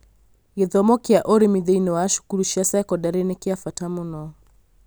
Gĩthomo kĩa ũrĩmi thĩinĩ wa cukuru cia sekondarĩ nĩ kĩa bata mũno